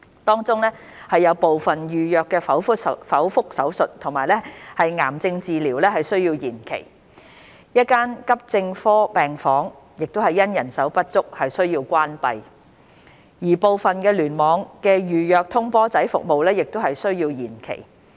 當中有部分預約剖腹手術和癌症治療需要延期、1間急症科病房因人手不足需要關閉，而部分聯網的預約通波仔服務亦需要延期。